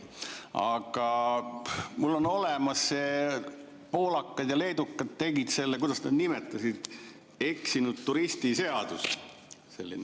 Aga mul on olemas, poolakad ja leedukad tegid selle, kuidas nad seda nimetasidki, eksinud turisti seadus.